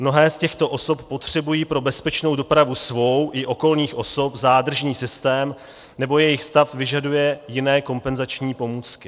Mnohé z těchto osob potřebují pro bezpečnou dopravu svou i okolních osob zádržný systém, nebo jejich stav vyžaduje jiné kompenzační pomůcky.